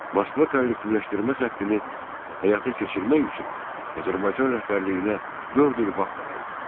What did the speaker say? Moskva kollektivləşdirmə xəttini həyata keçirmək üçün Azərbaycan rəhbərliyinə dörd il vaxt ayırdı.